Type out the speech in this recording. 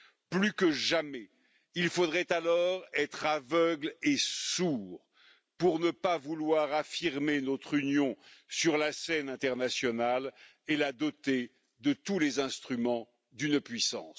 Plus que jamais, il faudrait être aveugle et sourd pour ne pas vouloir affirmer notre union sur la scène internationale et la doter de tous les instruments d'une puissance.